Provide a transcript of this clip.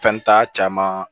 Fɛn t'a caman